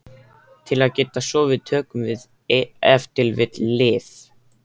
Til að geta sofið tökum við ef til vill lyf.